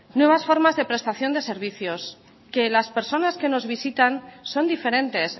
nuevas formas de prestación de servicios que las personas que nos visitan son diferentes